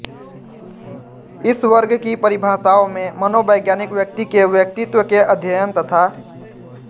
इस वर्ग की परिभाषाओं में मनोवैज्ञानिक व्यक्ति के व्यक्तित्व के अध्ययन तथा